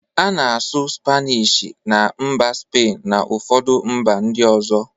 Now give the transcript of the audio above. A na-asụ spanishi na mba spain na ụfọdụ mba ndị ọzọ.